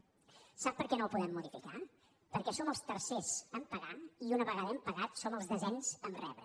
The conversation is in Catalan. a veure sap per què no el podem modificar perquè som els tercers a pagar i una vegada hem pagat som el desens a rebre